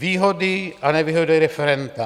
Výhody a nevýhody referenda.